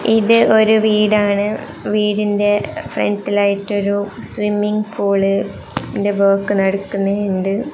ഇതൊരു വീടാണ് വീടിന്റെ ഫ്രണ്ടിയായിട്ടൊരു സ്വിമ്മിംഗ് പൂൾ ഇന്റെ വർക്ക് നടക്കുന്നുണ്ട്.